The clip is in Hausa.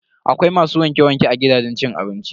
Akwai masu wanke-wanke a gidajen cin abinci.